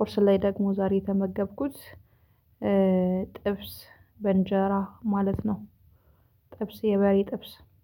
ቁርስ ላይ ደግሞ ዛሬ የተመገብኩት ጥብስ በእንጀራ ማለት ነው ጥብስ የበሬ ጥብስ